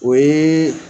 O ye